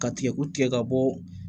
Ka tigɛko tigɛ ka bɔ